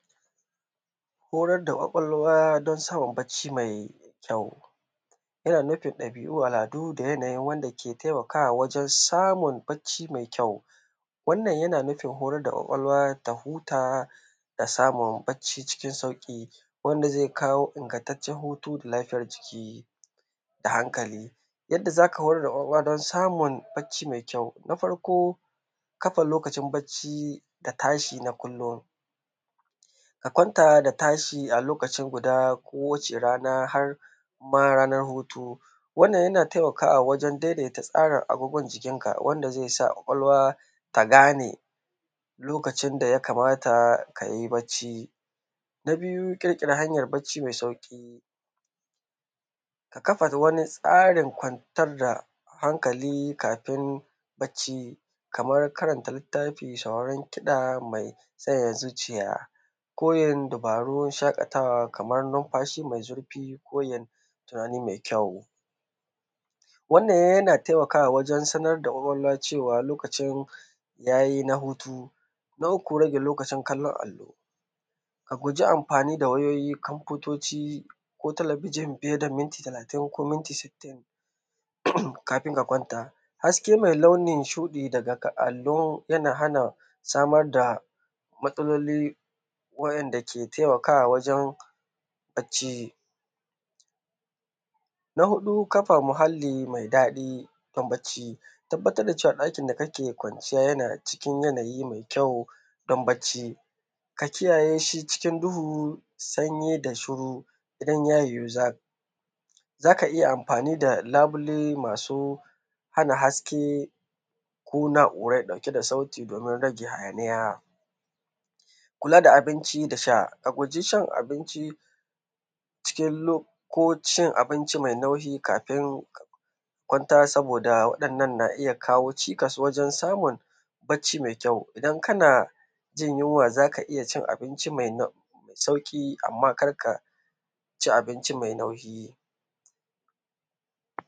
Horar da ƙwaƙwalwa don samun bacci mai kyau. Yana nufin ɗabi'u, al'adu da yanayin wanda ke taimakawa wajen samun bacci mai kyau. Wannan yana nufin horar da ƙwaƙwalwa ta huta da samun bacci cikin sauƙi, wanda zai kawo ingantaccen hutu da lafiyar jiki, da hankali. Yadda za ka horar da ƙwaƙwalwa don samun bacci mai kyau. Na farko, kafa lokacin bacci, da tashi na kullum. Ka kwanta da tashi a lokaci guda kowace rana har ma ranar hutu. Wannan yana taimakawa wajen daidaita tsarin abubuwan jikinka, wanda zai sa ƙwaƙwalwa ta gane, lokacin da ya kamata ka yi bacci. Na biyu, ƙirƙira hanyar bacci mai sauƙi. Ka kafa wani tsarin kwantar da hankali kafin bacci, kamar karanta littafi, sauraron kiɗa mai sanyaya zuciya, ko yin dabarun shaƙatawa, kamar numfashi mai zurfi ko yin tunani mai kyau. Wannan yana taimakawa wajen sanar da ƙwaƙwalwa cewa lokacin ya yi na hutu. Na uku rage lokacin kallon allo. A guji amfani da wayoyi, kamfutoci, ko talabijin fiye da minti talatin ko minti sittin, kafin ka kwanta. Haske mai launin shuɗi daga allo yana hana samar da matsaloli wa`yanda ke taimakawa wajen bacci. Na huɗu, kafa muhalli mai daɗi, don bacci. Tabbatar da cewa ɗakin da kake kwanciya yana cikin yanayi mai kyau don bacci. Ka kiyaye shi cikin duhu, sanyi da shiru. Idan ya yiwu za, za ka iya amfani da labule masu hana haske, ko na’urai ɗauke da sauti domin rage hayaniya. Kula da abinci da sha, A guji shan abinci cikin lo, ko cin abinci mai nauyi kafin a kwanta saboda waɗannan na iya kawo cikas wajen samun, bacci mai kyau. Idan kana jin yunwa za ka iya cin abinci mai sauƙi, amma kar ka ci abinci mai nauyi.